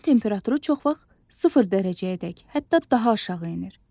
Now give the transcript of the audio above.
Havanın temperaturu çox vaxt sıfır dərəcəyədək, hətta daha aşağı enir.